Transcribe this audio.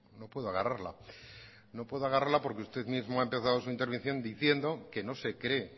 no puedo agarrarla no puedo agarrarla porque usted mismo ha empezado su intervención diciendo que no se cree